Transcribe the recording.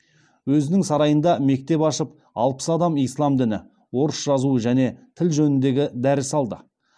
өзінің сарайында мектеп ашып алпыс адам ислам діні орыс жазуы және тіл жөнінде дәріс алды